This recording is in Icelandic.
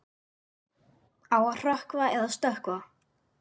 Á að hrökkva eða stökkva?